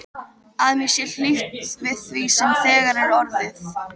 Að mér sé hlíft við því sem þegar er orðið.